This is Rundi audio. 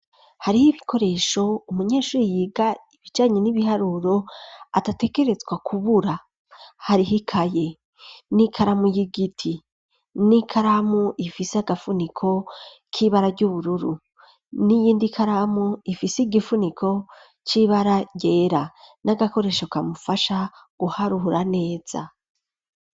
Hariho ibikoresho umunyeshuri yiga ibijanye n'ibiharuro adategerezwa kubura, hariho ikaye ,n'ikaramu y'igiti, n'ikaramu ifise agafuniko k'ibara ry'ubururu ,n'iyindi ikaramu ifise igifuniko c'ibara ryera, n'agakoresho kamufasha guharura neza.